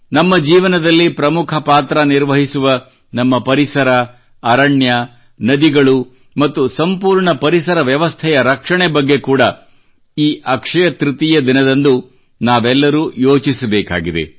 ನಮ್ಮ ಜೀವನದಲ್ಲಿ ಪ್ರಮುಖ ಪಾತ್ರ ನಿರ್ವಹಿಸುವ ನಮ್ಮ ಪರಿಸರ ಅರಣ್ಯ ನದಿಗಳು ಮತ್ತು ಸಂಪೂರ್ಣ ಪರಿಸರ ವ್ಯವಸ್ಥೆಯ ಇಕೋಸಿಸ್ಟಮ್ ರಕ್ಷಣೆ ಬಗ್ಗೆ ಕೂಡಾ ಈ ಅಕ್ಷಯ ತೃತೀಯ ದಿನದಂದುನಾವೆಲ್ಲರೂ ಯೋಚಿಸಬೇಕಾಗಿದೆ